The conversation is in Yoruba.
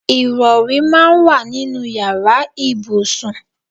Ìrọ̀rí máa ń wà nínú ìyára ibùsùn.